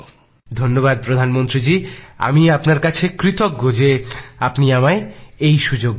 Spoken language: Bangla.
ধন্যবাদ প্রধানমন্ত্রী জী আমি আপনার কাছে কৃতজ্ঞ যে আপনি আমায় এই সুযোগ দিয়েছেন